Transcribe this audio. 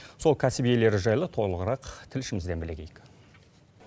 сол кәсіп иелері жайлы толығырақ тілшімізден білегейік